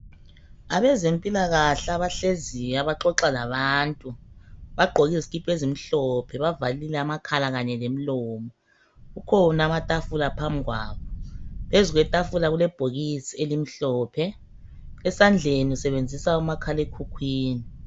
Abezempilakahle abahleziyo abaxoxa labantu, bagqoki zikipha ezimhlophe. Bavalile amakhala kanye lemilomo, kukhona amathafula phambikwabo ,phezu kwethafula kulebhokisi elimhlophe .Esandleni usebenzisa umakhale khukhwini.